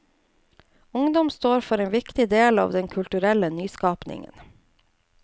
Ungdom står for en viktig del av den kulturelle nyskapingen.